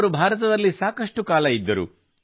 ಅವರು ಭಾರತದಲ್ಲಿ ಸಾಕಷ್ಟು ಕಾಲ ಇದ್ದರು